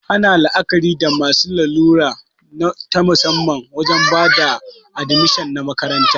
Ana la'akari da masu larura ta musamman wajen bada admishin a makaranta